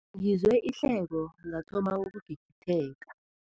Ngizwe ihleko ngathoma ukugigitheka.